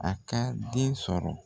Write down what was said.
A ka den sɔrɔ.